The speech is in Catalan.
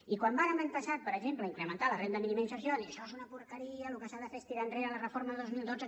i quan vàrem l’any passat per exemple incrementar la renda mínima d’inserció vam dir això és una porqueria el que s’ha de fer és tirar enrere la reforma dos mil dotze